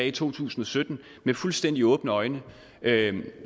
i to tusind og sytten med fuldstændig åbne øjne